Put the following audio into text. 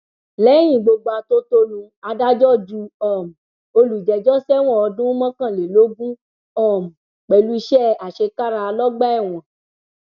lẹyìn gbogbo atótónu adájọ ju um olùjẹjọ sẹwọn ọdún mọkànlélógún um pẹlú iṣẹ àṣekára lọgbà ẹwọn